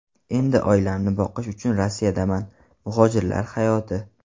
Endi oilamni boqish uchun Rossiyadaman” - Muhojirlar hayoti.